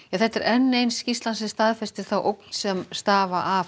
þetta er enn ein skýrslan sem staðfestir þá ógn sem stafar af